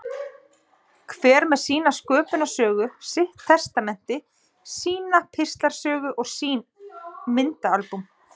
Hver með sína sköpunarsögu, sitt testamenti, sína píslarsögu og sín myndaalbúm.